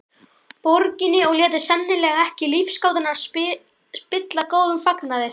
Borginni og létu sennilega ekki lífsgátuna spilla góðum fagnaði.